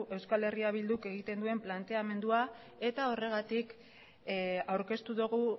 eh bilduk egiten duen planteamendua eta horregatik aurkeztu dugu